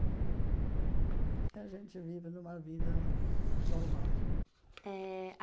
E a gente vive numa vida normal. É a